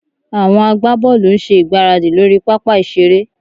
Àwọn agbábọ́ọ̀lù ń ṣe ìgbáradì lórí pápá ìṣeré